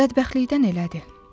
Bədbəxtlikdən elədi.